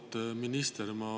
Auväärt minister!